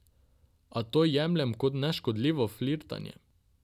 A to jemljem kot neškodljivo flirtanje.